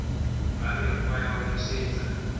ba mekgwa ya ho nosetsa